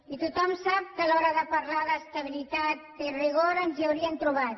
i tothom sap que a l’hora de parlar d’estabilitat i rigor ens hi haurien trobat